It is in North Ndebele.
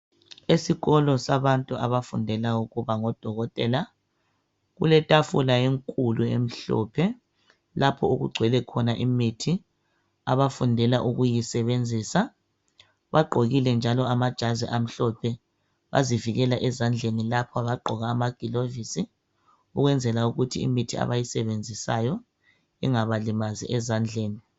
Esikolo sabantu abafundela ukuba ngodokotela kuletafula enkulu emhlophe lapho okugcwele khona imithi abafundela ukuyisebenzisa bagqokile njalo amajazi amhlophe bazivikela ezandleni lapha bagqoka amaglovisi ukwenzela ukuthi imithi abayisebenzisayo ingabalimazi ezandleni.